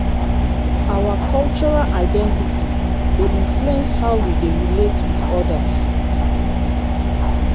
our cultural identity dey influence how we dey relate with odas.